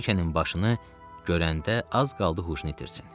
Brikenin başını görəndə az qaldı huşunu itirsin.